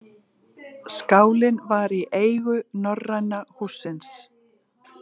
Skálinn var í eigu Norræna hússins